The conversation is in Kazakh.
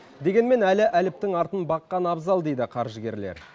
дегенмен әлі әліптің артын баққан абзал дейді қаржыгерлер